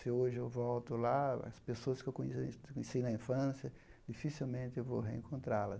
Se hoje eu volto lá, as pessoas que eu conheci na infância, dificilmente eu vou reencontrá-la.